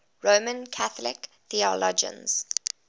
roman catholic theologians